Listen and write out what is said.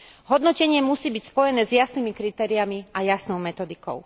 Hodnotenie musí byť spojené s jasnými kritériami a jasnou metodikou.